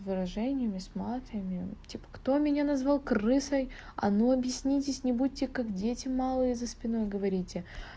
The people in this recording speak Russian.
выражениями с матами типа кто меня назвал крысой а ну объяснитесь не будьте как дети малые за спиной говорите